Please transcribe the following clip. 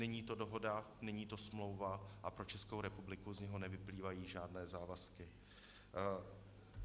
Není to dohoda, není to smlouva a pro Českou republiku z něj nevyplývají žádné závazky.